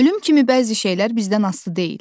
Ölüm kimi bəzi şeylər bizdən asılı deyil.